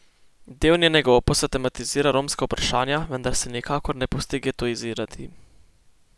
Del njenega opusa tematizira romska vprašanja, vendar se nikakor ne pusti getoizirati.